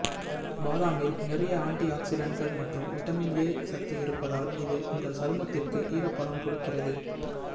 பாதாமில் நிறைய ஆன்டி ஆக்ஸிடன்ட்கள் மற்றும் விட்டமின் ஏ சத்து இருப்பதால் இது உங்கள் சருமத்திற்கு ஈரப்பதம் கொடுக்கிறது